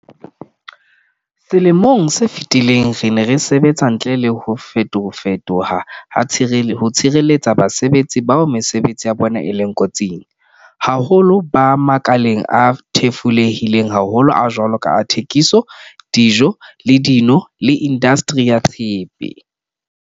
Selemong se fetileng, re ne re sebetsa ntle le ho fetofe toha ho tshireletsa basebetsi bao mesebetsi ya bona e leng ko tsing, haholoholo ba makaleng a thefulehileng haholo a jwalo ka a thekiso, dijo le dino le indastri ya tshepe.